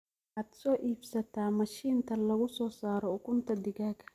Waxaad soo iibsataa mashintaa lagusosaraa ukunta digaaga.